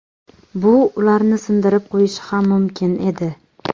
Bu ularni sindirib qo‘yishi ham mumkin edi.